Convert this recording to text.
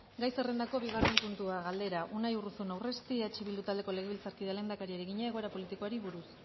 gai zerrendako bigarren puntua galdera unai urruzuno urresti eh bildu taldeko legebiltzarkideak lehendakariari egina egoera politikoari buruz